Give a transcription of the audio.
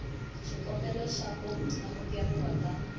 xikombelo xa ku amukeriwa ka